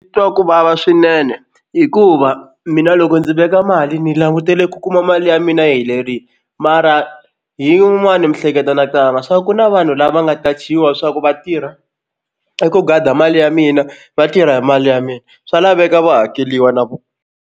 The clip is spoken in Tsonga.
Twa ku vava swinene hikuva mina loko ndzi veka mali ni langutele ku kuma mali ya mina yi helerile mara hi yin'wani miehleketo na cabanga swa ku na vanhu lava nga qachiwa swa ku va tirha i ku gada mali ya mina va tirha hi mali ya mina swa laveka va hakeriwa na vona.